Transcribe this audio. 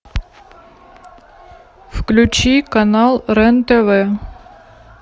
включи канал рен тв